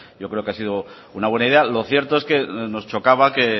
yo creo que ha sido una buena idea lo cierto es que nos chocaba que